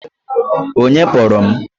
Onye kpọrọ m?